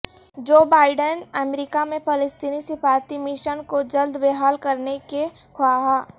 Joe Biden امریکہ میں فلسطینی سفارتی مشن کو جلد بحال کرنے کے خواہاں